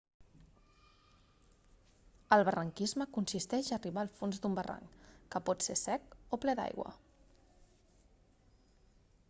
el barranquisme consisteix en arribar al fons d'un barranc que pot ser sec o ple d'aigua